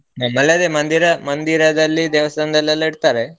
ನಮ್ಮಲ್ಲದೆ ಮಂದಿರ ಮಂದಿರದಲ್ಲಿ ದೇವಸ್ಥಾನದಲ್ಲಿ ಎಲ್ಲ ಇಡ್ತಾರೆ.